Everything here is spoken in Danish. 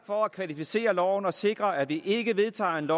for at kvalificere loven og sikre at vi ikke vedtager et